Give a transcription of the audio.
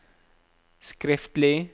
skriftlig